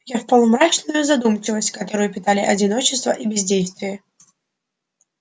я впал в мрачную задумчивость которую питали одиночество и бездействие